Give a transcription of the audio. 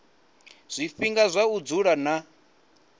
zwifhinga zwa u vula na